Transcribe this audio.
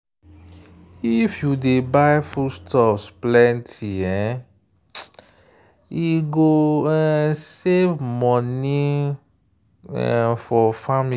if you dey buy foodstuffs plenty e go um save money um for family.